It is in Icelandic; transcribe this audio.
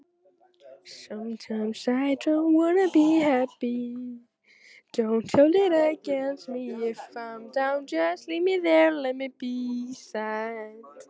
Foreldrar mínir trúðu á samvinnu- hugsjónina og voru kristnir.